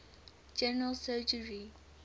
general surgery